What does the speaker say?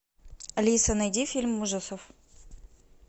алиса найди фильм ужасов